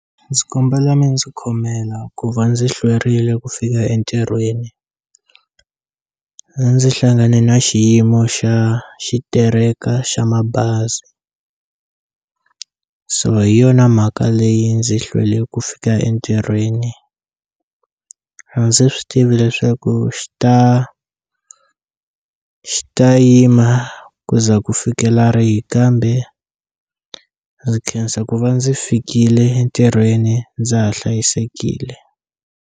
Ndzi kombela mi ndzi khomela ku va ndzi hlwerile ku fika entirhweni ndzi hlangane na xiyimo xa xitereka xa mabazi so hi yona mhaka leyi ndzi hlwele ku fika entirhweni a ndzi swi tivi leswaku xi ta xi ta yima ku ze ku fikela rihi kambe ndzi khensa ku va ndzi fikile ntirhweni ndza ha hlayisekile.